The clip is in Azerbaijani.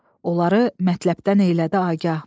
Onları mətləbdən eylədi agah.